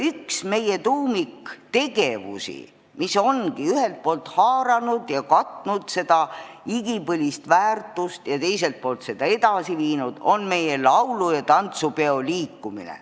Üks meie tuumiktegevusi, mis ongi ühelt poolt haaranud ja katnud seda igipõlist väärtust ja teiselt poolt seda edasi viinud, on meie laulu- ja tantsupeo liikumine.